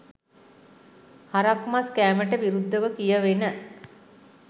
හරක්මස් කෑමට විරුද්ධව කියවෙන